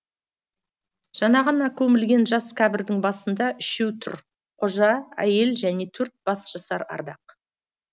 жаңа ғана көмілген жас кібірдің басында үшеу тұр қожа әйел және төрт бас жасар ардақ